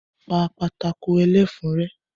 Pa pátákó ẹlẹ́fun rẹ́!